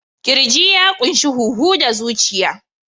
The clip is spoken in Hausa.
Ƙirji ya ƙunshi huhu da zuciya.